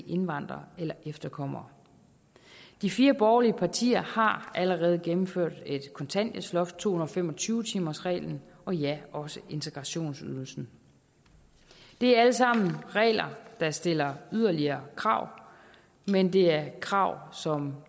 indvandrere eller efterkommere de fire borgerlige partier har allerede gennemført et kontanthjælpsloft to hundrede og fem og tyve timersreglen og ja også integrationsydelsen det er alt sammen regler der stiller yderligere krav men det er krav som